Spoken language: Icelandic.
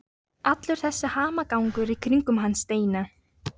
Allur þessi hamagangur í kringum hann Steina!